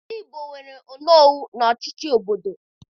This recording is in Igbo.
Ndị Igbo nwere onowu n'ọchịchị obodo